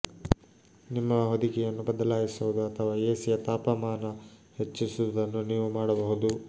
ನಿಮ್ಮ ಹೊದಿಕೆಯನ್ನು ಬದಲಾಯಿಸುವುದು ಅಥವಾ ಎಸಿಯ ತಾಪಮಾನ ಹೆಚ್ಚಿಸುವುದನ್ನು ನೀವು ಮಾಡಬಹುದು